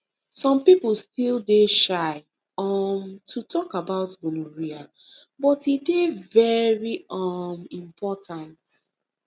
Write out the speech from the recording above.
some people still dey shy um to talk about gonorrhea but e dey very um important